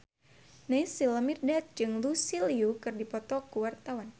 Naysila Mirdad jeung Lucy Liu keur dipoto ku wartawan